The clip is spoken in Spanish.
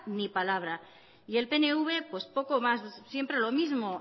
ni palabra y el pnv pues poco más siempre lo mismo